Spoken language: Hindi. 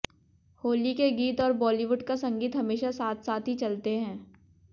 होली के गीत और बॉलीवुड का संगीत हमेशा साथ साथ ही चलते हैं